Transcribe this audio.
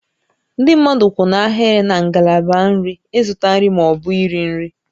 Ndị mmadụ kwụ n'ahịrị na ngalaba nri ịzụta nri ma ọ bụ nri nri